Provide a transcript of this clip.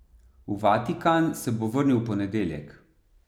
V Vatikan se bo vrnil v ponedeljek.